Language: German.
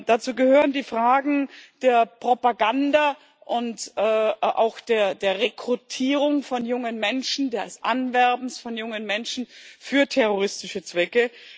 Dazu gehören die Fragen der Propaganda und auch der Rekrutierung von jungen Menschen, des Anwerbens von jungen Menschen für terroristische Zwecke.